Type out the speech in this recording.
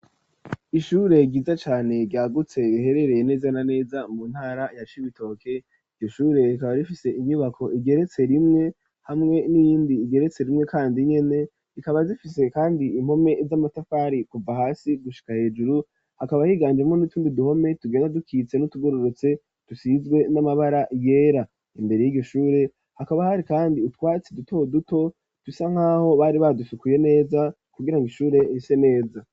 Ishure ryiza cane ryagutse riherereye neza na neza mu ntara ya Cibitoke, iryo shure rikaba rifise inyubako igeretse rimwe hamwe n'iyindi igeretse rimwe kandi nyene rikaba rifise kandi impome z'amatafari kuva hasi gushika hejuru hakaba higanjemwo nutundi duhome tugenda dukitse n'utugororotse dusizwe n'amabara yera imbere yiryo shure hakaba hari kandi utwatsi duto duto dusa nkaho bari badufikuye neza kugirango ishure rise neza.